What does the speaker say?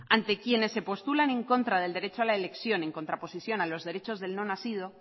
ante quienes se postulan en contra del derecho a la elección en contraposición a los derechos del no nacido